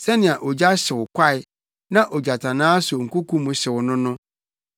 Sɛnea ogya hyew kwae, na ogyatannaa so nkoko mu hyew no no,